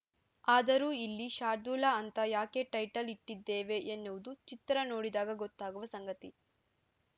ಆದರೂ ಇಲ್ಲಿ ಶಾರ್ದೂಲ ಅಂತ ಯಾಕೆ ಟೈಟಲ್‌ ಇಟ್ಟಿದ್ದೇವೆ ಎನ್ನುವುದು ಚಿತ್ರ ನೋಡಿದಾಗ ಗೊತ್ತಾಗುವ ಸಂಗತಿ